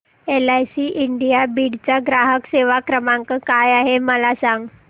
LIC India Beed चा ग्राहक सेवा क्रमांक काय आहे मला सांग